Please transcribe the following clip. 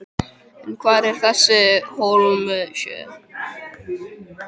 En hvar er þessi Hólmsheiði?